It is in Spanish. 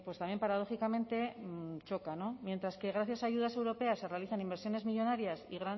también paradójicamente choca mientras que gracias a ayudas europeas se realizan inversiones millónarias